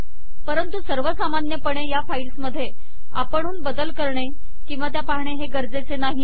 परंतु सर्व सामान्यपणे या फाईल्समध्ये आपणहून बदल करणे किंवा त्या पाहणे गरजेचे नाही